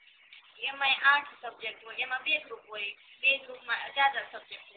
એમાય આઠ subject હોય એમાં બે group હોય બે group અડધા subject હોય